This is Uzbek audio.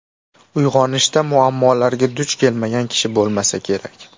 Uyg‘onishda muammolarga duch kelmagan kishi bo‘lmasa kerak.